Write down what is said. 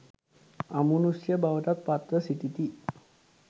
අමුනුෂ්‍ය බවටත් පත්ව සිටිති